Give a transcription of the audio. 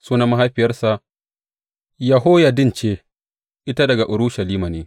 Sunan mahaifiyarsa Yehoyaddin ce; ita daga Urushalima ne.